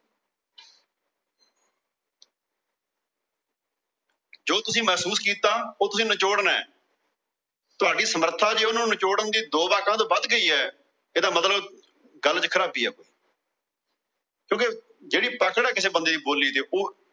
ਜੋ ਤੁਸੀਂ ਮਹਿਸੂਸ ਕੀਤਾ ਉਹ ਤੁਸੀਂ ਨਿਚੋੜਨਾ। ਤੁਹਾਡੀ ਸਮਰਥਾ ਹੈ ਉਹਨਾਂ ਨੂੰ ਨਿਚੋੜਣ ਦੀ ਦੋ ਵਾਕਾਂ ਤੋਂ ਵੱਧ ਗਈ ਏ। ਇਹਦਾ ਮਤਲਬ ਗੱਲ ਚ ਖਰਾਬੀ ਏ। ਕਿਓਂਕਿ ਜਿਹੜੀ ਪਕੜ ਏ ਕਿਸੇ ਬੰਦੇ ਦੀ ਬੋਲੀ ਤੇ